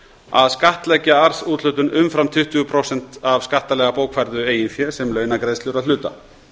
að skattleggja arðsúthlutun umfram tuttugu prósent af skattalega bókfærðu eigin fé sem launagreiðslur að hluta